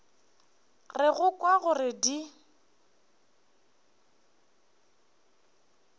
re go kwa gore di